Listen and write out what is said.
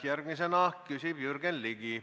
Järgmisena küsib Jürgen Ligi.